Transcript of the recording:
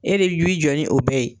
E de w'i jɔ ni o bɛɛ ye.